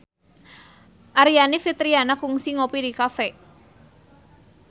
Aryani Fitriana kungsi ngopi di cafe